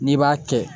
N'i b'a kɛ